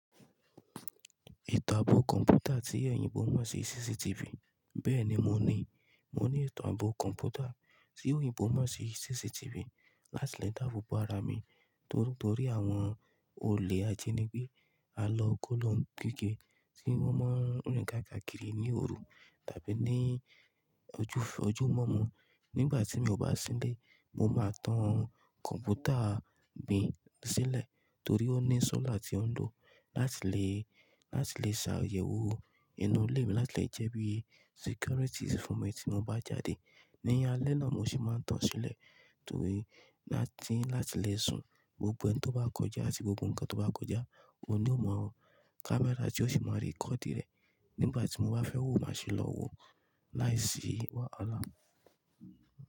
Ìtàn bó kọ̀mpútà tí èyìnbó mò sí CCTV. Bẹ́ẹ̀ni moní, moní ìtàn bó kọ̀mpútà tí èyínbó mò sí CCTV. Láti lè dábò ara mi torí nítorí àwọn olè ajíní gbé, a lọ kó lo n kígbe tí wọ́n máa ń rìn ká kàkìrì ní òru tàbí ní ojú ojúmọ́ mó. Nígbàtí mi o bá sí nlé, mo máa tan kọ̀mpútà mi sílẹ̀ torí ó ní sọ́là tí ó ń lo láti lè, láti lè ṣààyè wo inú ilé mi láti lè jẹ́ bí security fúnmi tí mo bá jáde. Ní alẹ́ náà mo sì máa tan sílẹ̀ torí láti, láti lè sún gbogbo ẹni tó bá kọjá àti gbogbo ǹkan tó bá kọjá, òun ni ó mọ. Kámẹ́rà tí ó sì máa ri kọ́di rẹ̀ nígbàtí mo bá fẹ́ wo máa sì lọ wo láìsí wàhálà.